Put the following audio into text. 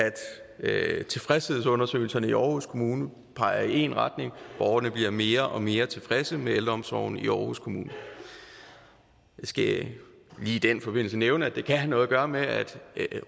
tilfredshedsundersøgelserne i aarhus kommune peger i én retning borgerne bliver mere og mere tilfredse med ældreomsorgen i aarhus kommune jeg skal lige i den forbindelse nævne at det kan have noget at gøre med at